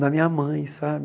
na minha mãe, sabe?